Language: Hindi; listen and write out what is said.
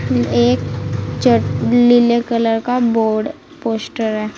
एक चट लीले कलर का बोर्ड पोस्टर है।